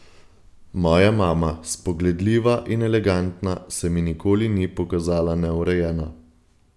Moja mama, spogledljiva in elegantna, se mi nikoli ni pokazala neurejena.